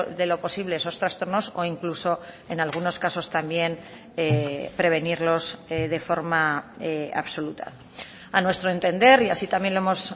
de lo posible esos trastornos o incluso en algunos casos también prevenirlos de forma absoluta a nuestro entender y así también lo hemos